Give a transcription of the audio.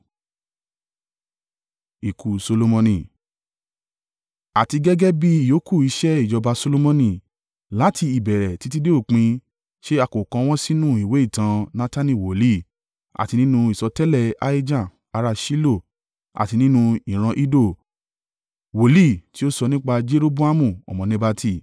Àti gẹ́gẹ́ bí ìyókù iṣẹ́ ìjọba Solomoni, láti ìbẹ̀rẹ̀ títí dé òpin, ṣé a kò kọ wọ́n sínú ìwé ìtàn Natani wòlíì, àti nínú ìsọtẹ́lẹ̀ Ahijah ará Ṣilo àti nínú ìran Iddo, wòlíì tí o so nípa Jeroboamu ọmọ Nebati?